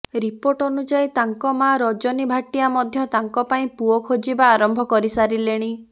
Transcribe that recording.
report ଅନୁଯାୟୀ ତାଙ୍କ ମା ରଜନୀ ଭାଟ୍ଟିଆ ମଧ୍ୟ ତାଙ୍କ ପାଇଁ ପୁଅ ଖୋଜିବା ଆରମ୍ଭ କରି ସାରିଲେଣି